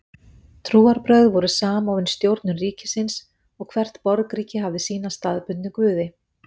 Trúarbrögð voru samofin stjórnun ríkisins og hvert borgríki hafði sína staðbundnu guði.